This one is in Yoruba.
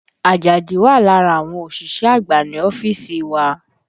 Àjàdí wà lára àwọn òṣìṣẹ́ àgbà ní ọ́fíìsì wa